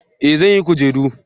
eh zan yi kujeru